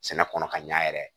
Sɛnɛ kɔnɔ ka ɲa yɛrɛ